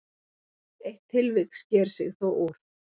Eitt tilvik sker sig þó úr.